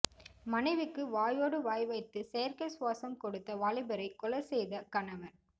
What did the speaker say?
மனைவிக்கு வாயோடு வாய் வைத்து செயற்கை சுவாசம் கொடுத்த வாலிபரை கொலை செய்த கணவர்